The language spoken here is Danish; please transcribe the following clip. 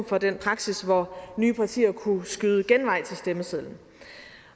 for den praksis hvor nye partier kunne skyde genvej til stemmesedlen